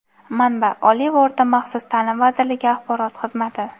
Manba: Oliy va o‘rta maxsus taʼlim vazirligi axborot xizmati.